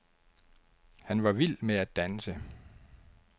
Han var vild med at danse.